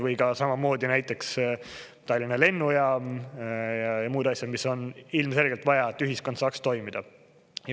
Või ka samamoodi näiteks Tallinna lennujaam ja muud asjad, mis on ilmselgelt vaja, et ühiskond saaks toimida.